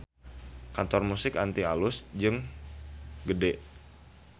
Kantor Musik Antik alus jeung gede